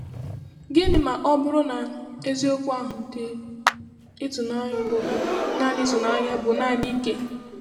Gịnị ma ọ bụrụ na eziokwu ahụ dị ịtụnanya bụ naanị ịtụnanya bụ naanị ike?